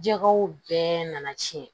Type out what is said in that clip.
Jɛgɛw bɛɛ nana tiɲɛ